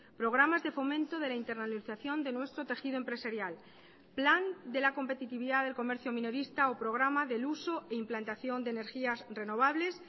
programas de fomento de la internalización de nuestro tejido empresarial plan de la competitividad del comercio minorista o programa del uso e implantación de energías renovables